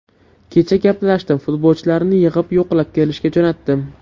Kecha gaplashdim, futbolchilarni yig‘ib yo‘qlab kelishga jo‘natdim.